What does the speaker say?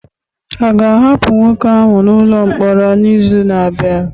A ga-ahapụ nwoke ahụ n'ụlọ mkpọrọ n'izu na-abịa?